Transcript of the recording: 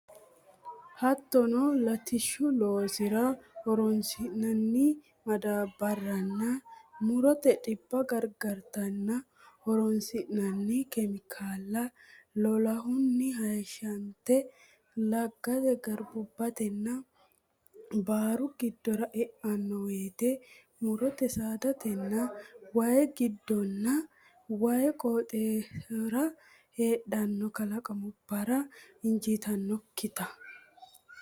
Hattono latishshu loossara horonsi nanni madaabbarranna mu rote dhibba gargarate horonsinanni kemikaalla lolahunni hayishshante laggate garbubbatenna baaru giddora e anno woyte mu rote saadatenna way giddonna way qooximarira heedhanno kalaqamubbara injiitannokkita.